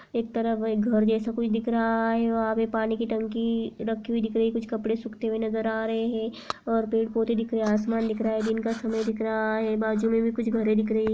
एक तरफ एक घर जैसे कुछ दिख रहा है। वहाँ पे पानी कि टंकी रखी हुई दिख रही है। कुछ कपड़े सूखते हुए नजर आ रहे है। और पेड़ पौधे दिख रहा है। आसमान दिख रहा है। दिन का समय दिख रहा है। बाजू मे भी कुछ घरे दिख रही --